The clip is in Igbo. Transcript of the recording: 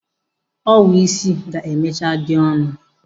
Owu isi ga-emechaa dị ọnụ.